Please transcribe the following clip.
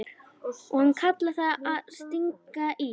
Og hann kallar það að stinga í.